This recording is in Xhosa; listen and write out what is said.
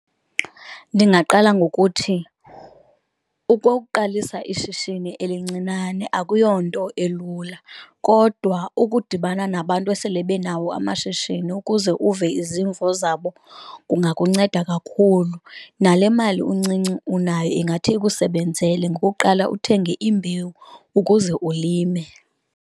Ndingaqala ngokuthi ukuqalisa ishishini elincinane akuyonto elula kodwa ukudibana nabantu esele benawo amashishini ukuze uve izimvo zabo kungakunceda kakhulu. Nale mali incinci unayo ingathi ikusebenzele ngokuqala uthenge imbewu ukuze ulime.